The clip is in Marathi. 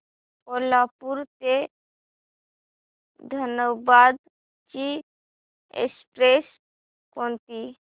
कोल्हापूर ते धनबाद ची एक्स्प्रेस कोणती